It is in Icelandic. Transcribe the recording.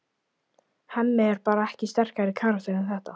Hemmi er bara ekki sterkari karakter en þetta.